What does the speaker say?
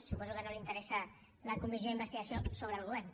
suposo que no els interessa la comissió d’investigació sobre el govern